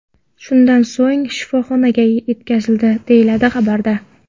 Shundan so‘ng u shifoxonaga yetkazildi”, deyiladi xabarda.